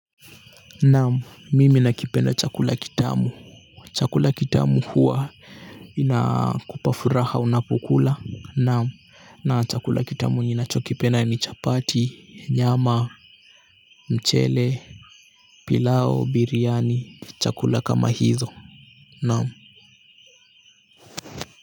Naamu mimi nakipenda chakula kitamu chakula kitamu huwa inakupafuraha unapukula naamu na chakula kitamu ninacho kipenda ni chapati nyama mchele pilau biryani chakula kama hizo naamu.